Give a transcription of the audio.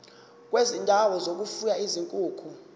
kwezindawo zokufuya izinkukhu